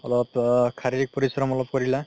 অলপ শাৰীৰিক পৰিশ্ৰম অলপ কৰিলা